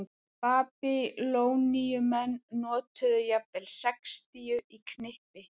Babýloníumenn notuðu jafnvel sextíu í knippi.